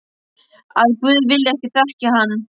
Að guð vilji ekki þekkja hann.